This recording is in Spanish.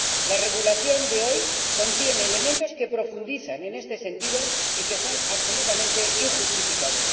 La regulación de hoy contiene elementos que profundizan en este sentido y que son absolutamente injustificados.